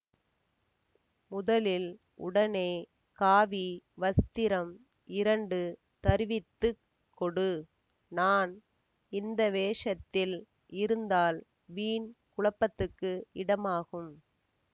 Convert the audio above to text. முதலில் உடனே காவி வஸ்திரம் இரண்டு தருவித்து கொடு நான் இந்த வேஷத்தில் இருந்தால் வீண் குழப்பத்துக்கு இடமாகும்